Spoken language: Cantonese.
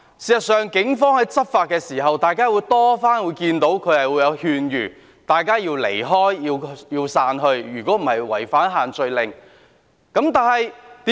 事實上，大家經常可以看到，警方在執法時，有勸諭市民離開和散去，否則會違反限聚令。